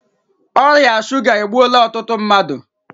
Ọrịa shuga egbuola ọtụtụ mmadụ